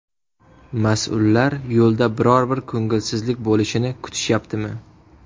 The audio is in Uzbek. Mas’ullar yo‘lda biror bir ko‘ngilsizlik bo‘lishini kutishyaptimi?